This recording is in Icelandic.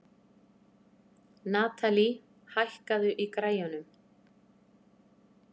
Natalie, hækkaðu í græjunum.